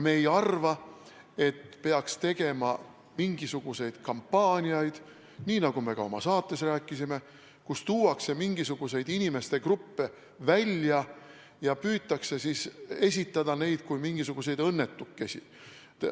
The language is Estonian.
Me ei arva, et peaks tegema mingisuguseid kampaaniaid – nii nagu me ka oma saates rääkisime –, kus tuuakse esile mingisuguseid inimgruppe ja püütakse esitada neid inimesi kui mingisuguseid õnnetukesi.